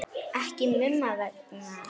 Ekki Mumma vegna heldur.